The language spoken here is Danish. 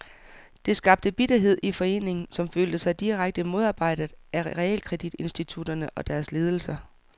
Det skabte bitterhed i foreningen, som følte sig direkte modarbejdet af realkreditinstitutterne og deres ledelser.